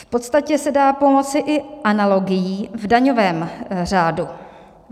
V podstatě se dá pomoci i analogií v daňovém řádu.